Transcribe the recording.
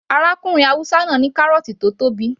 Arákùnrin haúsá náà ní kárọ̀ọ̀tì tó tóbi